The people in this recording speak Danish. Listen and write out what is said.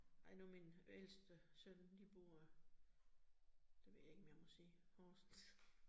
Nej, nu min ældste søn de bor, det ved jeg ikke, om jeg må sige Horsens